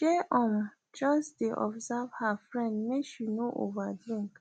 shey um just dey observe her friend make she no over drink